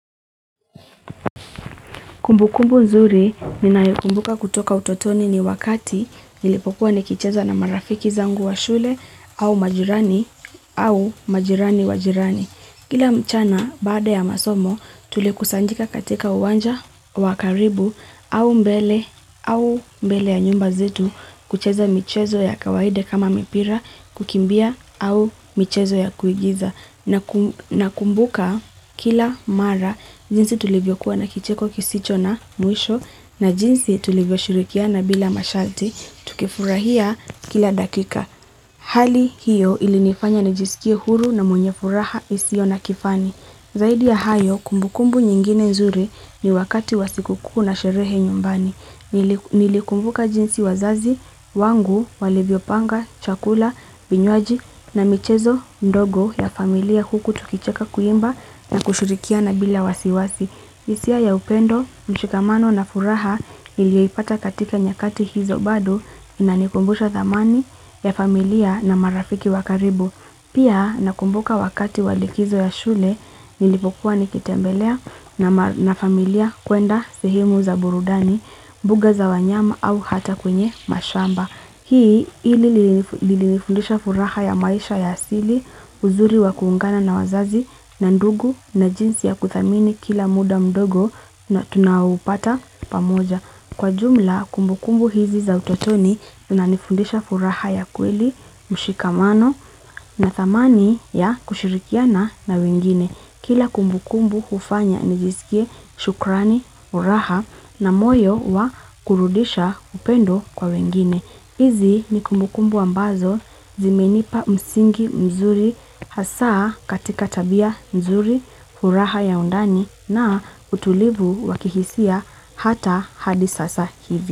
Kumbukumbu nzuri ninayokumbuka kutoka utotoni ni wakati nilipopua nikicheza na marafiki zangu wa shule au majirani au majirani wajirani. Kila mchana bade ya masomo tulekusanjika katika uwanja wakaribu au mbele au mbele ya nyumba zetu kucheza michezo ya kawaida kama mipira kukimbia au michezo ya kuigiza. Na kumbuka kila mara, jinsi tulivyo kuwa na kicheko kisicho na muisho, na jinsi tulivyo shurikia na bila mashalti, tukifurahia kila dakika. Hali hiyo ili nifanya na jisikia huru na mwenye furaha isio na kifani. Zaidi ya hayo, kumbukumbu nyingine nzuri ni wakati wasikuku na sherehe nyumbani. Nilikumbuka jinsi wazazi, wangu, walivyopanga, chakula, vinywaji na michezo, ndogo ya familia huku tukicheka kuimba na kushurikia na bila wasiwasi isia ya upendo, mshikamano na furaha ilipata katika nyakati hizo bado na nikumbusha zamani ya familia na marafiki wakaribu Pia nakumbuka wakati walikizo ya shule nilipokuwa nikitembelea na familia kuenda sehemu za burudani, buga za wanyama au hata kwenye mashamba. Hii ilifundisha furaha ya maisha ya asili, uzuri wa kuungana na wazazi na ndungu na jinsi ya kuthamini kila muda mdogo na tunaopata pamoja. Kwa jumla kumbukumbu hizi za utotoni unanifundisha furaha ya kweli, mshikamano na thamani ya kushirikiana na wengine. Kila kumbukumbu ufanya nijisikie shukrani, furaha na moyo wa kurudisha upendo kwa wengine. Izi ni kumbukumbu ambazo zimenipa msingi mzuri hasa katika tabia mzuri furaha ya undani na utulivu wakihisia hata hadisasa hivi.